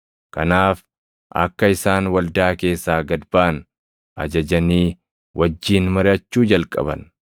Kanaaf akka isaan waldaa keessaa gad baʼan ajajanii wajjin mariʼachuu jalqaban.